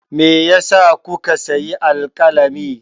Me ya sa kuka sayi alƙalami?